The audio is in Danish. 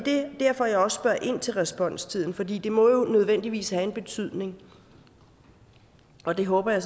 derfor at jeg også spørger ind til responstid fordi det må jo nødvendigvis have en betydning og det håber jeg